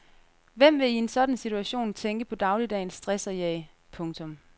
Hvem vil i en sådan situation tænke på dagligdagens stress og jag. punktum